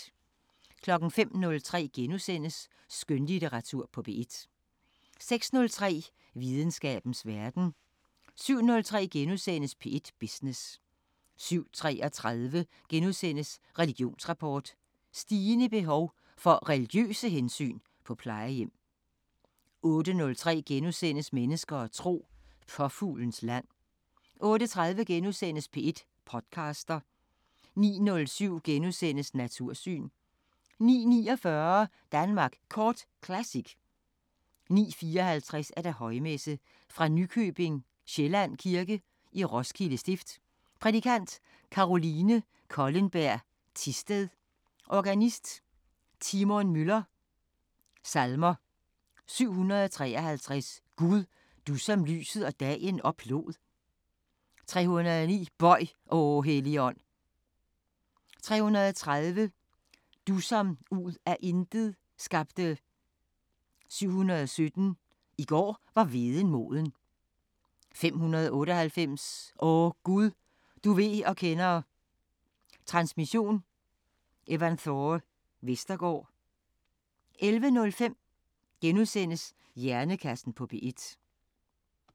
05:03: Skønlitteratur på P1 * 06:03: Videnskabens Verden 07:03: P1 Business * 07:33: Religionsrapport: Stigende behov for religiøse hensyn på plejehjem * 08:03: Mennesker og tro: Påfuglens land * 08:30: P1 podcaster * 09:07: Natursyn * 09:49: Danmark Kort Classic 09:54: Højmesse - Fra Nykøbing Sjælland Kirke, Roskilde Stift. Prædikant: Caroline Kollenberg Thisted. Organist: Timon Müller. Salmer: 753: "Gud, du som lyset og dagen oplod". 309: "Bøj, o Helligånd". 330: "Du som ud af intet skabte". 717: "I går var hveden moden". 598: "O Gud, du ved og kender". Transmission: Evanthore Vestergaard. 11:05: Hjernekassen på P1 *